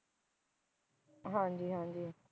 ਹਾਂ ਜੀ ਹਾਂ ਜੀ